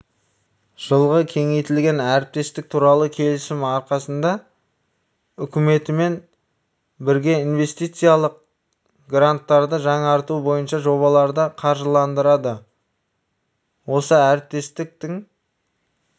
жылғы кеңейтілген әріптестік туралы келісім арқасында үкіметімен бірге инвестициялық гранттарды жаңарту бойынша жобаларды қаржыландырады осы әріптестіктің